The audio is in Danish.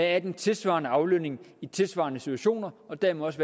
er den tilsvarende aflønning i tilsvarende situationer og dermed også